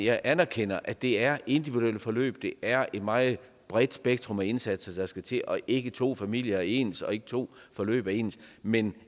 jeg anerkender at det er individuelle forløb at det er et meget bredt spektrum af indsatser der skal til og ikke to familier er ens og ikke to forløb er ens men